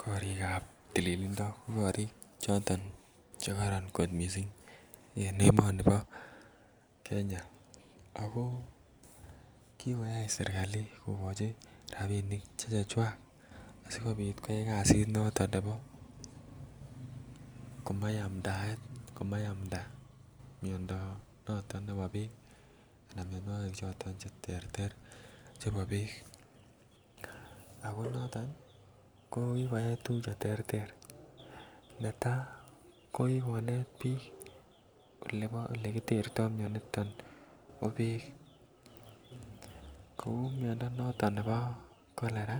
Korik chebo tililindo ko korik Che kororon kot mising en emoni bo Kenya ako kikoyai serkali kogochi rabinik Che chechwak asikobit koyai kasit noton nebo komayaptakei mianwogik anan mianwogik choton Che terter chebo Beek ako noton ko ki koyai tuguk Che terter netai ko konet bik olekitertoi mianito bo Beek kou miando noto nebo cholera